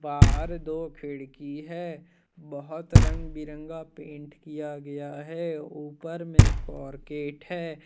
बाहर दो खिड़की हैं। बहुत रंग बिरंगा पेंट किया गया है। ऊपर में कोरकेट है।